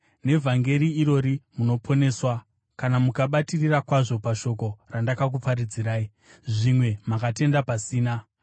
Nevhangeri irori munoponeswa, kana mukabatirira kwazvo pashoko randakakuparidzirai. Zvimwe makatenda pasina.